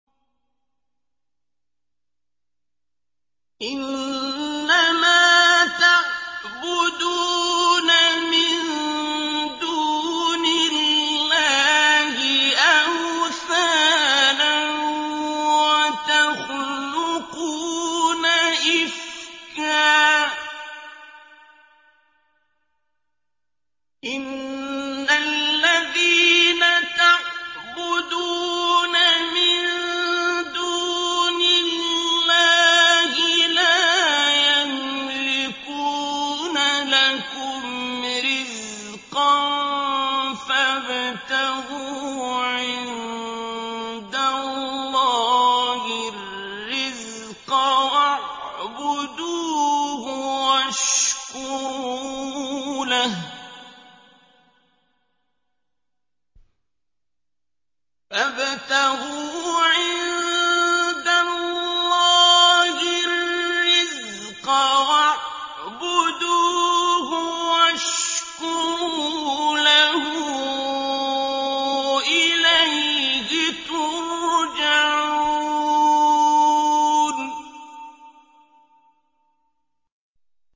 إِنَّمَا تَعْبُدُونَ مِن دُونِ اللَّهِ أَوْثَانًا وَتَخْلُقُونَ إِفْكًا ۚ إِنَّ الَّذِينَ تَعْبُدُونَ مِن دُونِ اللَّهِ لَا يَمْلِكُونَ لَكُمْ رِزْقًا فَابْتَغُوا عِندَ اللَّهِ الرِّزْقَ وَاعْبُدُوهُ وَاشْكُرُوا لَهُ ۖ إِلَيْهِ تُرْجَعُونَ